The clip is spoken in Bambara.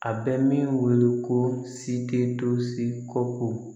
A bɛ min wele ko si tɛ to si ko